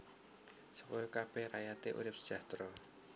Supaya kabèh rakyaté urip sejahtera